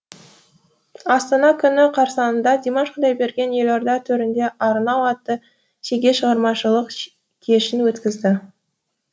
астана күні қарсаңында димаш құдайберген елорда төрінде арнау атты жеке шығармашылық кешін өткізеді